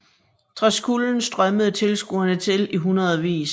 Trods kulden strømmede tilskuere til i hundredvis